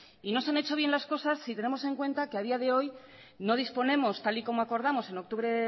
y no se han hecho bien las cosas si tenemos en cuenta que a día de hoy no disponemos tal y como acordamos en octubre